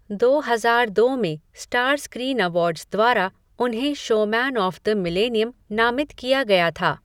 दो हजार दो में स्टार स्क्रीन अवार्ड्स द्वारा उन्हें शोमैन ऑफ़ द मिलेनियम नामित किया गया था।